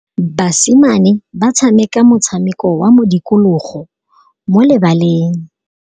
Basimane ba tshameka motshameko wa modikologô mo lebaleng.